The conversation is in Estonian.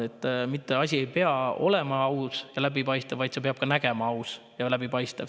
Asi mitte ei pea olema aus ja läbipaistev, vaid see peab ka aus ja läbipaistev välja nägema.